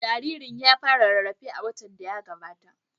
Jaririn ya fara rarrafe a watan da ya gabata.